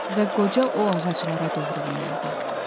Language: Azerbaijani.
Və qoca o ağaclara doğru yönəldi.